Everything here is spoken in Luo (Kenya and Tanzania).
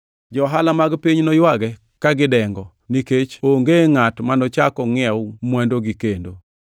Johala mag piny noywage ka gidengo, nikech onge ngʼat manochak ongʼiew mwandugi kendo.